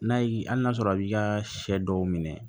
N'a y'i hali n'a sɔrɔ a b'i ka sɛ dɔw minɛ